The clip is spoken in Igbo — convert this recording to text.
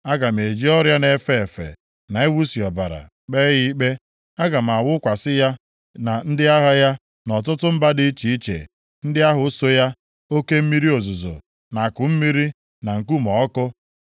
Aga m eji ọrịa na-efe efe na iwusi ọbara kpee ya ikpe. Aga m awụkwasị ya na ndị agha ya na ọtụtụ mba dị iche iche ndị ahụ so ya, oke mmiri ozuzo na akụmmiri, na nkume ọkụ.